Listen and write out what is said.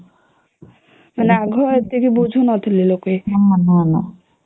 ହେଲେ ଆଗ ଏତିକି ବୁଝୁ ନଥିଲେ ଲୋକେ